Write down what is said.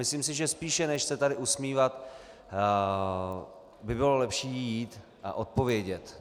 Myslím si, že spíše, než se tady usmívat, by bylo lepší jít a odpovědět.